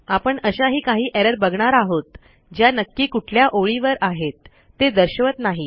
आपण अशाही काही एरर बघणार आहोत ज्या नक्की कुठल्या ओळीवर आहेत ते दर्शवत नाही